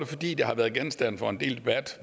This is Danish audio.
fordi det har været genstand for en del debat